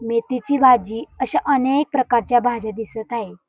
मेथीची भाजी अशा अनेक प्रकारच्या भाज्या दिसत आहे.